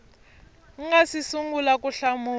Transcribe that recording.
nga si sungula ku hlamula